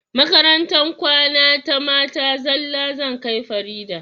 Makarantar kwana ta mata zalla zan kai farida